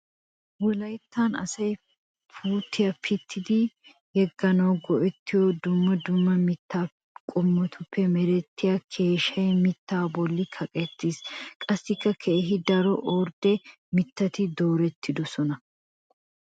Wolayttan asay pittuwa pittiddi yeganawu go'ettiyo dumma dumma mitta qommotuppe merettiya keeshshe mitta bolli kaqqettis. Qassikka keehi daro ordde mittati doorettidosonna.